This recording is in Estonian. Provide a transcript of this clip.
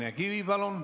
Signe Kivi, palun!